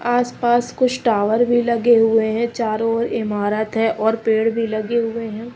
आसपास कुछ टावर भी लगे हुए हैं चारों ओर इमारत है और पेड़ भी लगे हुए हैं।